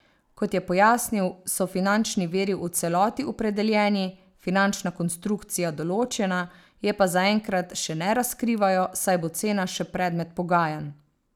Kot je pojasnil, so finančni viri v celoti opredeljeni, finančna konstrukcija določena, je pa zaenkrat še ne razkrivajo, saj bo cena še predmet pogajanj.